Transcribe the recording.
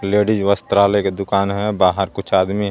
Ladies वस्त्रालय की दुकान है बाहर कुछ आदमी है.